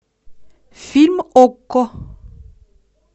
фильм окко